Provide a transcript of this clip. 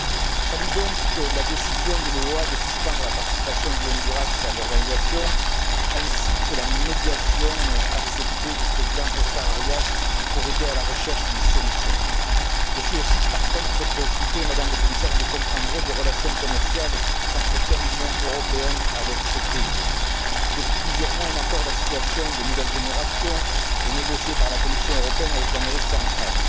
Je salue donc la décision de l'OEA de suspendre la participation du Honduras à l'organisation ainsi que la médiation acceptée du président Oscar Arias pour aider à la recherche d'une solution. Par contre, je suis aussi très préoccupé, Madame le Commissaire, par les relations commerciales qu'entretient l'Union européenne avec ce pays. Depuis plusieurs mois, un accord d'association de nouvelle génération est négocié par la Commission européenne avec l'Amérique centrale.